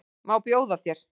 Má bjóða þér?